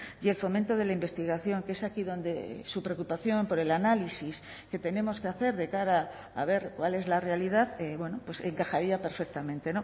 y el fomento de la investigación que es aquí donde su preocupación por el análisis que tenemos que hacer de cara a ver cuál es la realidad encajaría perfectamente